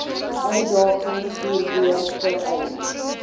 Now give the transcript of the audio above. uitdagings hierbo vereis